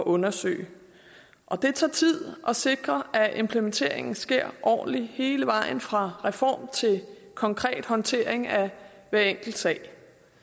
undersøge og det tager tid at sikre at implementeringen sker ordentligt hele vejen fra reform til konkret håndtering af hver enkelt sag